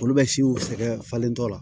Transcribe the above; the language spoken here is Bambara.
Olu bɛ siw sɛgɛn falentɔ la